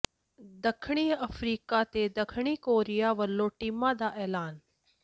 ਦੱਖਣੀ ਅਫਰੀਕਾ ਤੇ ਦੱਖਣੀ ਕੋਰੀਆ ਵੱਲੋਂ ਟੀਮਾਂ ਦਾ ਐਲਾਨ